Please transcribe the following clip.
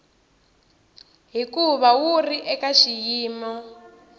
hikuva wu ri eka xiyimo